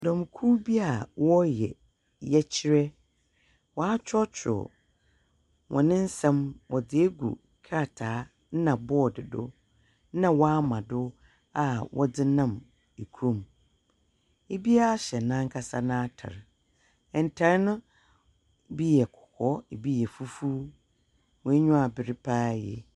Dɔmkuw bi a wɔyɛ yɛkyerɛ, Watworɔ tworɔ wɔn nsɛm wɔdze egu krataa na bɔɔd do, na wama do a wɔdze nam ekurom. Biaa hyɛ n'ankasa n'atar, ntar no bi yɛ kɔkɔɔ, bi yɛ fufuw. Wɔn enyiwa aber paa yie.